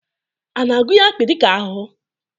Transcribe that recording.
A na-agụnye akpi dịka ahụhụ?